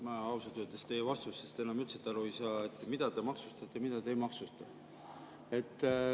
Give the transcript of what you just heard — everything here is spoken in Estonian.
Ma ausalt öeldes teie vastustest enam üldse aru ei saa, et mida te maksustate ja mida te ei maksusta.